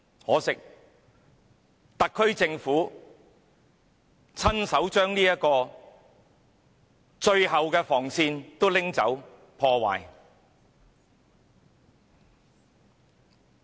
可惜，特區政府親手把這最後防線移除、破壞。